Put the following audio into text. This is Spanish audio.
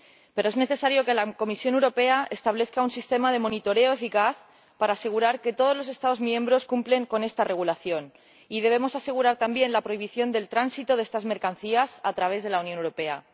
Pero es necesario que la Comisión Europea establezca un sistema de vigilancia eficaz, para asegurar que todos los Estados miembros cumplen con este Reglamento. Y debemos garantizar, también, la prohibición del tránsito de estas mercancías a través de la Unión Europea.